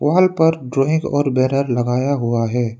फल पर ड्राइंग और बैनर लगाया हुआ है।